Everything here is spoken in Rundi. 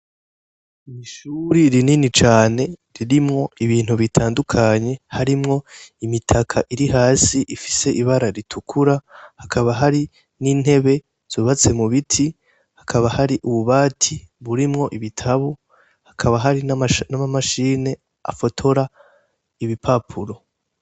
Ishure rinini cane ririmwo ibintu bitandukanye ,harimwo imitaka iri hasi ifise ibara ritukura, hakaba hari n'intebe zubatse mubiti, hakaba hari ubu bati burimwo ibitabu, hakaba hari n'ama mashini afotora ibipapuro.